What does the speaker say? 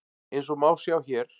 Eins og má sjá hér.